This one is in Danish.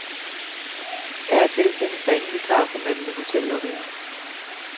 Af og til findes der ingen vikar for manden i hotellobbyen.